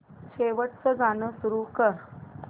शेवटचं गाणं सुरू कर